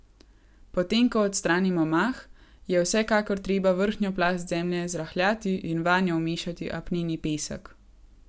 Potem ko odstranimo mah, je vsekakor treba vrhnjo plast zemlje zrahljati in vanjo vmešati apneni pesek.